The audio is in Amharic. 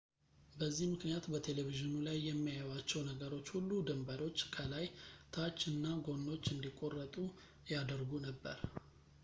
በዚህ ምክንያት፣ በቴሌቪዥኑ ላይ የሚያዩዋቸው ነገሮች ሁሉ ድንበሮች ፣ ከላይ ፣ ታች እና ጎኖች እንዲቆረጡ ያደርጉ ነበር